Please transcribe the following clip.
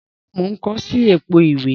Rárá, mo n ko si èpo ìwé